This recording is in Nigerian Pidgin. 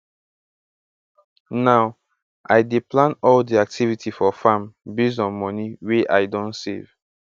now i dey plan all di activity for farm based on moni wey i don save